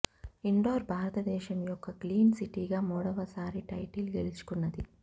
indoor భారతదేశం యొక్క clean సిటీగా మూడవ సారి టైటిల్ గెలుచుకున్నది